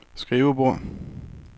skrivebord